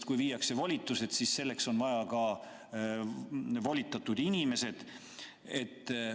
Ja kui ära viiakse volitused, siis kas selleks on vaja ära viia ka volitatud inimesed?